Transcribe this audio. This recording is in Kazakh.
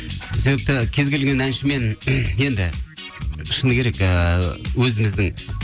себепті кез келген әншімен енді шыны керек ыыы өзіміздің